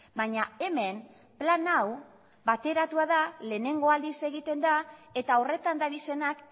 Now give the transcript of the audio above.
baina hemen plan hau bateratua da lehenengo aldiz egiten da eta horretan dabizenak